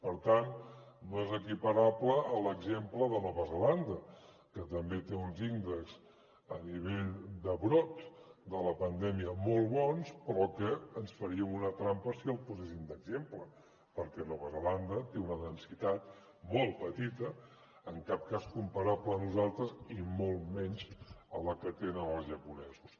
per tant no és equiparable a l’exemple de nova zelanda que també té uns índexs a nivell de brot de la pandèmia molt bons però que ens faríem una trampa si el poséssim d’exemple perquè nova zelanda té una densitat molt petita en cap cas comparable a nosaltres i molt menys a la que tenen els japonesos